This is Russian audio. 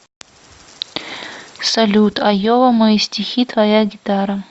салют айова мои стихи твоя гитара